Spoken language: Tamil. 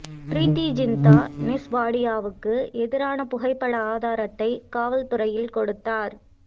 பிரீத்தி ஜிந்தா நெஸ் வாடியாவுக்கு எதிரான புகைப்பட ஆதாரத்தை காவல்துறையில் கொடுத்தார்